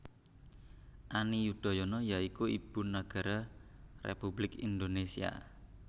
Ani Yudhoyono ya iku Ibu Nagara Republik Indonésia